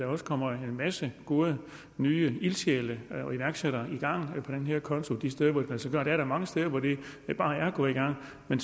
også kommer en masse gode nye ildsjæle og iværksættere i gang på den her konto de steder hvor det kan lade sig gøre der er da mange steder hvor det bare er gået i gang men